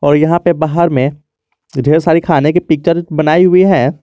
और यहां पे बाहर में ढेर सारी खाने की पिक्चर बनाई हुई है।